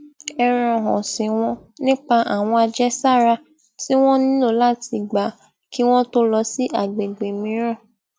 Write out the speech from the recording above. ẹran òsìn wọn nípa àwọn àjẹsára tí wón nílò láti gba ki won to lọ sí àgbègbè mìíràn